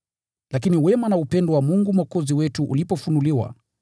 Lakini wema na upendo wa Mungu Mwokozi wetu ulipofunuliwa,